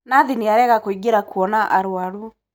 Nathi nĩarega kũingĩra kuona arwaru.